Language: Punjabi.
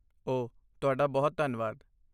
ਓਹ, ਤੁਹਾਡਾ ਬਹੁਤ ਧੰਨਵਾਦ।